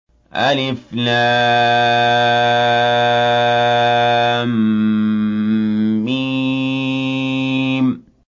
الم